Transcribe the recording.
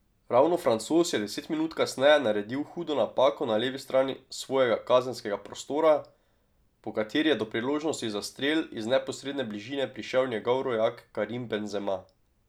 Ravno Francoz je deset minut kasneje naredil hudo napako na levi strani svojega kazenskega prostora, po kateri je do priložnosti za strel iz neposredne bližine prišel njegov rojak Karim Benzema.